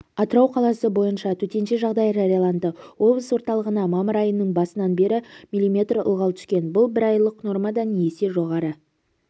атырау қаласы бойынша төтенше жағдай жарияланды облыс орталығына мамыр айының басынан бері миллиметр ылғал түскен бұл бір айлық нормадан есе жоғары